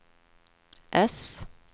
S